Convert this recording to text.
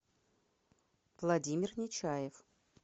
владимир нечаев